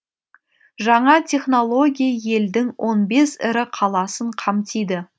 жаңа технология елдің он бес ірі қаласын қамтиды